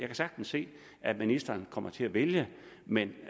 kan sagtens se at ministeren kommer til at vælge men